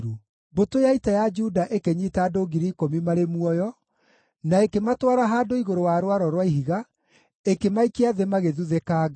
Mbũtũ ya ita ya Juda ĩkĩnyiita andũ 10,000 marĩ muoyo, na ĩkĩmatwara handũ igũrũ wa rwaro rwa ihiga, ĩkĩmaikia thĩ magĩthuthĩkanga.